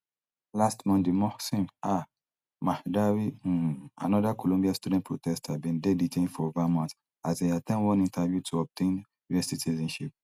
last monday mohsen um mahdawi um anoda columbia student protester bin dey detained for vermont as e at ten d one interview to obtain us citizenship